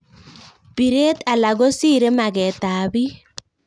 piret alak ko sirei maket ap pik